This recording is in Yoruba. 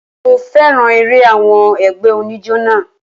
Mo féràn eré àwọn ẹgbẹ́ oníjó náà.